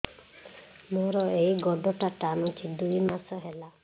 ମୋର ଏଇ ଗୋଡ଼ଟା ଟାଣୁଛି ଦୁଇ ମାସ ହେଲା